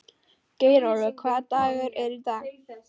Geirólfur, hvaða dagur er í dag?